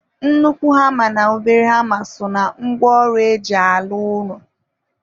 Nnukwu hama na obere hama so na ngwa ọrụ eji alụ ụlọ.